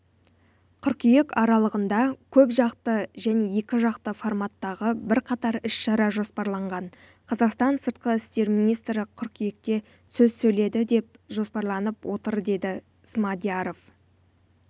қыркүйек аралығында көпжақты және екіжақты форматтағы бірқатар іс-шара жоспарланған қазақстан сыртқы істер министрі қыркүйекте сөз сөйлейді деп жоспарланып отыр деді смадияров